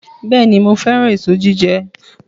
Bẹ́ẹ̀ni, mo fẹ́ràn èso jíjẹ